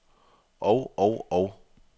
og og og